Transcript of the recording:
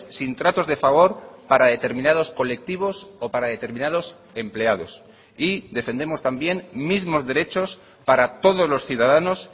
sin tratos de favor para determinados colectivos o para determinados empleados y defendemos también mismos derechos para todos los ciudadanos